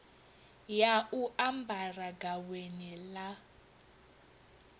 ya u ambara gaweni ḽa